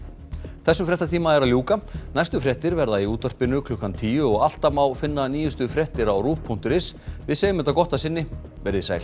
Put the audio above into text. þessum fréttatíma er að ljúka næstu fréttir verða sagðar í útvarpi klukkan tíu og alltaf má finna nýjustu fréttir inni á rúv punktur is segjum þetta gott að sinni verið þið sæl